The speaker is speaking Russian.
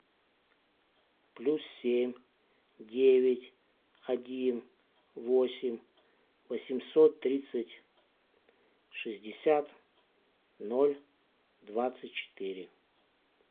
плюс семь девять один восемь восемьсот тридцать шестьдесят ноль двадцать четыре